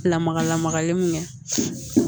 Lamaga lamagalen mun kɛ